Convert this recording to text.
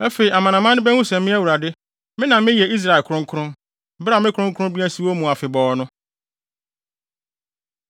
Afei amanaman no behu sɛ me Awurade, me na meyɛ Israel kronkron, bere a me kronkronbea si wɔn mu afebɔɔ no.’ ”